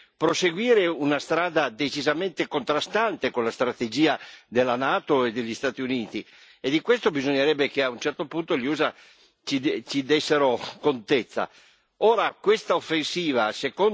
Un'offensiva che vuole proseguire una strada decisamente contrastante con la strategia della NATO e degli Stati Uniti, e di questo bisognerebbe che a un certo punto gli USA ci dessero contezza.